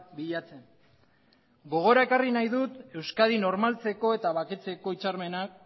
bilatzen gogora ekarri nahi dut euskadi normaltzeko eta baketzeko hitzarmenak